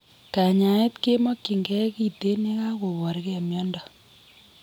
Kanyaeet kemokyinkee kiteen yekakoborkee miondo